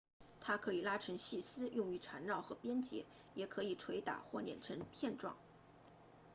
它可以拉成细丝用于缠绕和编结也可以捶打或碾成片状